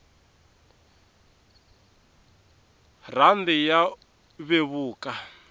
rhandi ya vevuka